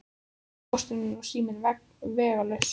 Nú var Póstur og sími vegalaus.